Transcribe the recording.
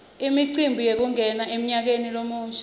imicimbi yekungena emnyakeni lomusha